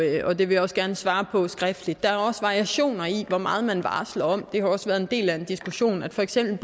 og det vil jeg også gerne svare på skriftligt der er også variationer i hvor meget man varsler om det har også været en del af en diskussion for eksempel